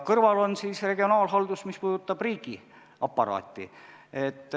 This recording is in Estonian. Kõrval on siis regionaalhaldus, mis puudutab riigiaparaati.